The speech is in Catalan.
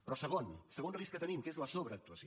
però segon segon risc que tenim que és la sobreactuació